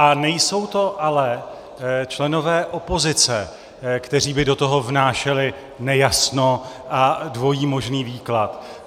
A nejsou to ale členové opozice, kteří by do toho vnášeli nejasno a dvojí možný výklad.